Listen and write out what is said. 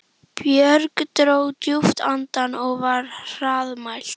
Björg dró djúpt andann og var hraðmælt